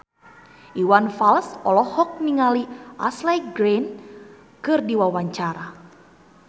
Iwan Fals olohok ningali Ashley Greene keur diwawancara